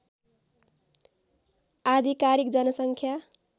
आधिकारिक जनसङ्ख्या